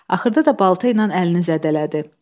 Axırda da balta ilə əlini zədələdi.